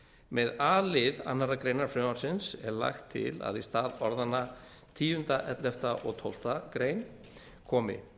með a lið annarrar greinar frumvarpsins er lagt til að í stað orðanna tíunda ellefta og tólftu grein komi